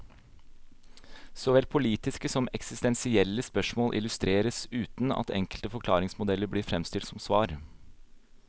Såvel politiske som eksistensielle spørsmål illustreres, uten at enkle forklaringsmodeller blir fremstilt som svar.